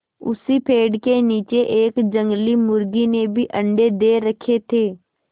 उसी पेड़ के नीचे एक जंगली मुर्गी ने भी अंडे दे रखें थे